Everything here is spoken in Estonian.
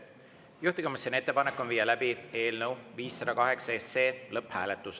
Juhtivkomisjoni ettepanek on viia läbi eelnõu 508 lõpphääletus.